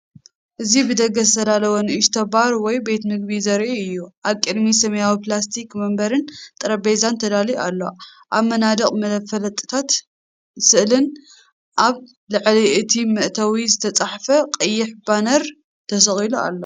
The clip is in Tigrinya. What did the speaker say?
እዚ ብደገ ዝተዳለወ ንእሽቶ ባር ወይ ቤት መግቢ ዘርኢ እዩ። ኣብ ቅድሚት ሰማያዊ ፕላስቲክ መንበርን ጠረጴዛን ተዳልዩ ኣሎ። ኣብ መናድቕ መፋለጥታትን ስእልታትን፡ ኣብ ልዕሊ እቲ መእተዊ ዝተጻሕፈ ቀይሕ ባነር ተሰቒሉ ኣሎ።